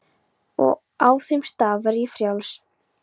Og á þeim stað verð ég frjáls.